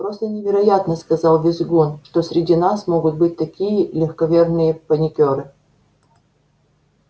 просто невероятно сказал визгун что среди нас могут быть такие легковерные паникёры